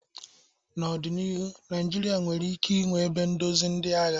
N'ọdịnihu, Naijiria nwere ike ịnwe ebe ndozi ndị agha.